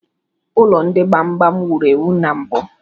Ụlọ ndị gbam gbam wuru ewu na mbụ.